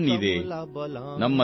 ಭಾರತ್ ದುನಿಯಾ ಕೀ ಶಾನ್ ಹೈ ಭಯ್ಯಾ